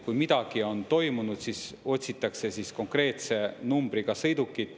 Kui midagi on toimunud, siis otsitakse konkreetse numbriga sõidukit.